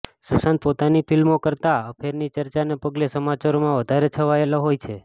સુશાંત પોતાની ફિલ્મો કરતાં અફેરની ચર્ચાને પગલે સમાચારોમાં વધારે છવાયેલો હોય છે